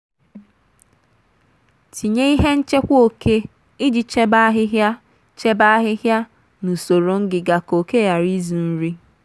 tinye ihe nchekwa oke iji chebe ahịhịa chebe ahịhịa na usoro ngịga ka oke ghara izu nri.